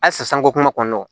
Halisa sanko kuma kɔnɔna na